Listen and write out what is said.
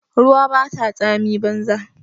Ruwa bata tsami banza.